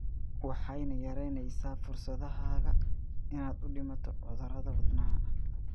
Waxayna yaraynaysaa fursadahaaga inaad u dhimato cudurada wadnaha.